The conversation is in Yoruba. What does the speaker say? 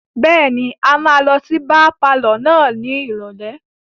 Bẹ́ẹ̀ni, a máa lọ sí bíá palọ̀ náà ní ìrọ̀lẹ́.